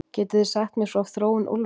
Getið þið sagt mér frá þróun úlfa?